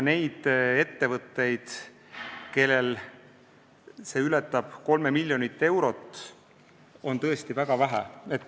Neid ettevõtteid, kellel see summa ületab 3 miljonit eurot, on tõesti väga vähe.